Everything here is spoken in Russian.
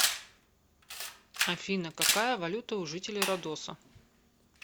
афина какая валюта у жителей родоса